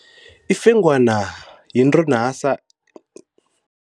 Ifengwana yinto nasa